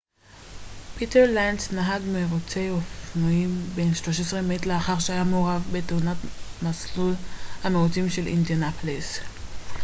פיטר לנץ נהג מירוצי אופנועים בן 13 מת לאחר שהיה מעורב בתאונה במסלול המירוצים של אינדיאנפוליס